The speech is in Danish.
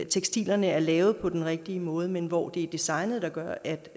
tekstiler der er lavet på den rigtige måde men hvor det er designet der gør at